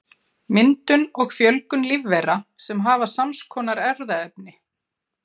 Myndun og fjölgun lífvera sem hafa sams konar erfðaefni.